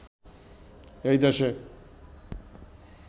এই দেশে